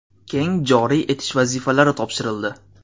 keng joriy etish vazifalari topshirildi.